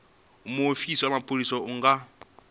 muofisi wa mapholisa a nga